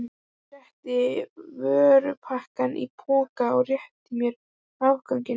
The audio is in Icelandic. Hann setti vörurnar í poka og rétti mér afganginn.